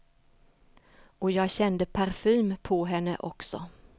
Och jag kände parfym på henne också.